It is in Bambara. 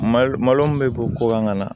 Malo malo min bɛ bɔ ko kan ka na